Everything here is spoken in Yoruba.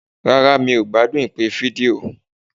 Rárá, mi ò gbádùn ìpè fídíò.